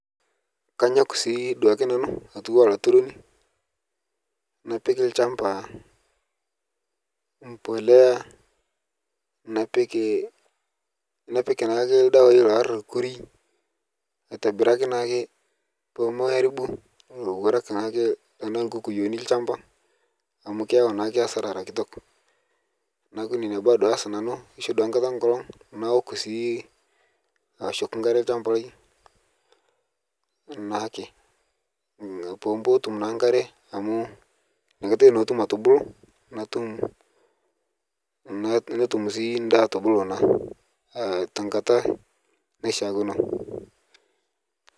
Kaanyok sii duake nanu atuuwa laaturoni napiik lchambaa mbolea napiik napiik naake ldewai laarukori aitibiraki naake poo aribuu lowaraak naake tana nkuukuyoni lchambaa amu keiyau naake asara era nkitook. Naaku nenia baya aas nanu keishoo duake nkaata naook sii aoshoki nkaare lshambai naake, pootuum naa nkaare amu enia nkaatai naa atuum atubuluu natuum, netuum sii ndaa atubuluu naa te nkaata naasheakino.